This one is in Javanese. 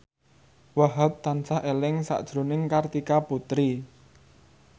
Wahhab tansah eling sakjroning Kartika Putri